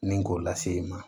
Ni k'o lase i ma